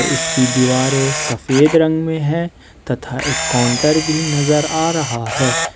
इसकी दीवारें सफेद रंग में है तथा एक काउंटर भी नजर आ रहा है।